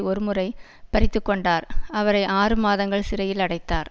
ஒரு முறை பறித்துக்கொண்டார் அவரை ஆறு மாதங்கள் சிறையில் அடைத்தார்